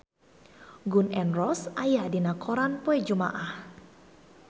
Gun N Roses aya dina koran poe Jumaah